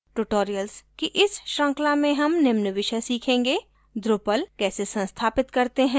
tutorial की इस श्रृंखला में हम निम्न विषय सीखेंगे: drupal कैसे संस्थापित करते हैं